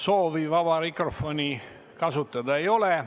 Soovi vaba mikrofoni kasutada ei ole.